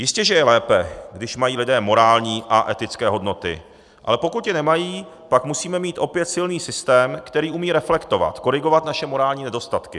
Jistě že je lépe, že mají lidé morální a etické hodnoty, ale pokud je nemají, pak musíme mít opět silný systém, který umí reflektovat, korigovat naše morální nedostatky.